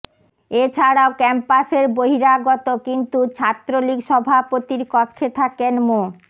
এছাড়াও ক্যাম্পাসের বহিরাগত কিন্তু ছাত্রলীগ সভাপতির কক্ষে থাকেন মো